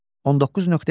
19.2.